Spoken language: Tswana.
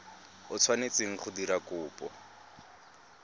o tshwanetseng go dira kopo